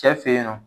Cɛ fe yen nɔ